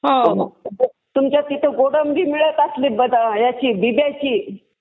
तुमच्या तिथं गोडंबी मिळत असली, बिब्याची